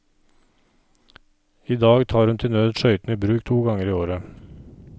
I dag tar hun til nød skøytene i bruk to ganger i året.